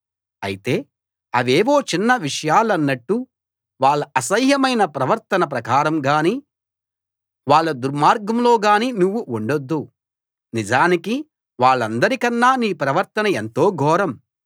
అయితే అవేవో చిన్న విషయాలన్నట్టు వాళ్ళ అసహ్యమైన ప్రవర్తన ప్రకారం గాని వాళ్ళ దుర్మార్గంలో గాని నువ్వు ఉండొద్దు నిజానికి వాళ్ళందరికన్నా నీ ప్రవర్తన ఎంతో ఘోరం